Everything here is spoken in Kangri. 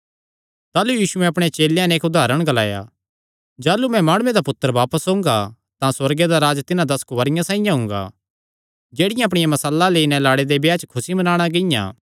ताह़लू यीशुयैं अपणे चेलेयां नैं इक्क उदारण ग्लाया जाह़लू मैं माणुये दा पुत्तर बापस ओंगा तां सुअर्गे दा राज्ज तिन्हां दस कुंआरियां साइआं हुंगा जेह्ड़ियां अपणी मशालां लेई नैं लाड़े दे ब्याह च खुसी मनाणा गियां